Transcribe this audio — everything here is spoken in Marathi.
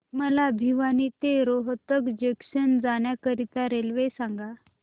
मला भिवानी ते रोहतक जंक्शन जाण्या करीता रेल्वे सांगा